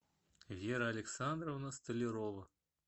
вера александровна столярова